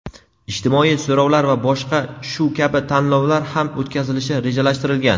ijtimoiy so‘rovlar va boshqa shu kabi tanlovlar ham o‘tkazilishi rejalashtirilgan.